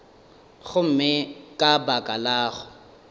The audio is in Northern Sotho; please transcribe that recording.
gomme ka baka la go